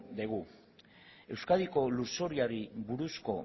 dugu euskadiko lurzoruari buruzko